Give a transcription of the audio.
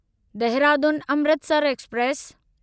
Dehradun Amritsar express